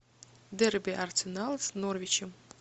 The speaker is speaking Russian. дерби арсенал с норвичем